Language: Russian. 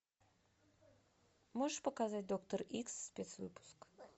можешь показать доктор икс спецвыпуск